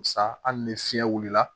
Sa hali ni fiɲɛ wulila